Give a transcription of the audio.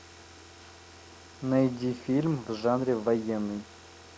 найди фильм в жанре военный